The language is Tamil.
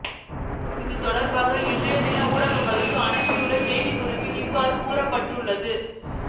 இது தொடர்பாக இன்றைய தினம் ஊடகங்களுக்கு அனுப்பியுள்ள செய்திக்குறிப்பில் அவ்வாறு குறிப்பிடப்பட்டு உள்ளது